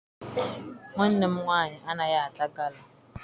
Nwanne m nwaanyị anaghị ata gala.